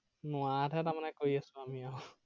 নোৱাৰাতহে তাৰমানে কৰি আছো আমিও আৰু